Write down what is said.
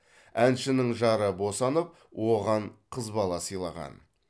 әншінің жары босанып оған қыз бала сыйлаған